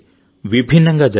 విభిన్నంగా జరిగాయి